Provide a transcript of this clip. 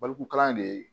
Barikuru kalan de ye